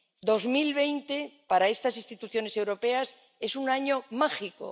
2020 para estas instituciones europeas es un año mágico.